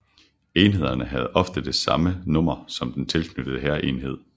Enhederne havde ofte det samme nummer som den tilknyttede hærenhed